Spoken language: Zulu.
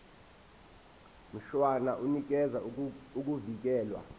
mshwana unikeza ukuvikelwa